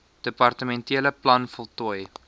departementele plan voltooi